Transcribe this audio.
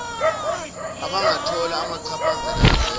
abangathola amachaphazela ezenzo